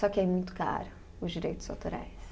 Só que é muito caro, os direitos autorais.